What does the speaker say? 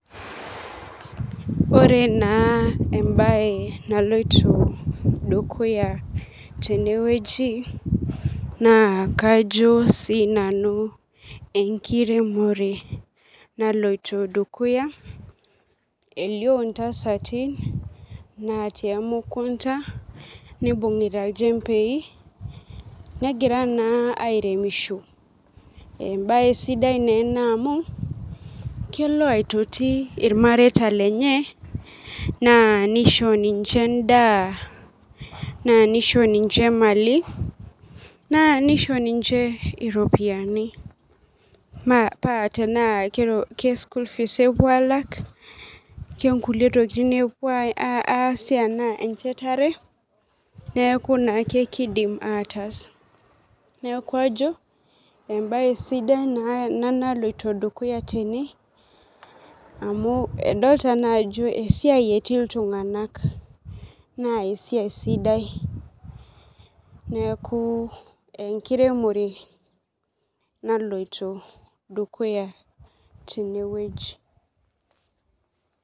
Ore na embae naloito dukuya tenewueji na kajo si nanu enkiremore naloito dukuya elio ntasati natii emukunda nibungita nchembei negira na airemisho embae sida ena amu kelo aitoti irmareita lenye nisho ninche endaa na nisho ninche mali na nisho ninche iropiyani paa tanaa ke school fees epuo alak tanaa kangulie tokitim, tanaa kenchetare neaku keidim ataas neaku ajo embae sidai ena naloito dukuya tene idolta ajo esiai etii ltunganak na esiai sidai neaku enkiremore naloito dukuya tenewueji.